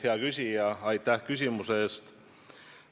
Hea küsija, aitäh küsimuse eest!